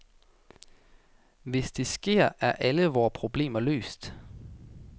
Hvis det sker, er alle vore problemer løst.